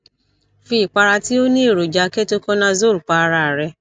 fi ìpara tí ó ní èròjà ketoconazole pa ara rẹ